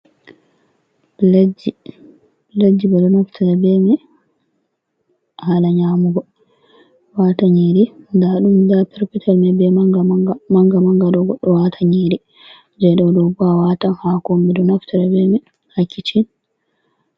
Pletji. Pletji ɓe ɗo naftira be mai hala nyaamugo. Waata nyiri, nda ɗum nda perpetel mai be manga-manga. Manga-manga ɗo goɗɗo watai nyiri. Jei dou ɗo bo a watai haako on, ɓe ɗo naftira ha kicin.